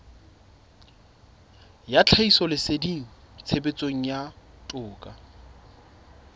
ya tlhahisoleseding tshebetsong ya toka